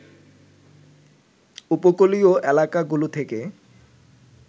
উপকূলীয় এলাকাগুলো থেকে